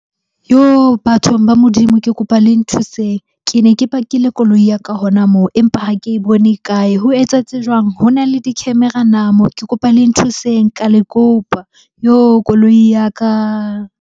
Yoh! Bathong ba Modimo ke kopa le nthuseng. Ke ne ke pakile koloi ya ka hona moo, empa ha ke bone e kae? Ho etsahetse jwang? Ho na le di-camera na moo? Ke kopa le nthuseng ka le kopa. Yoh! Koloi ya ka.